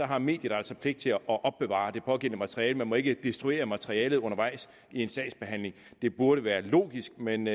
har mediet altså pligt til at opbevare det pågældende materiale man må ikke destruere materialet undervejs i en sagsbehandling det burde være logisk men